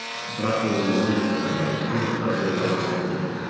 бірақ өзіміздің жаңағы құндылықтарымен байланыстыру керек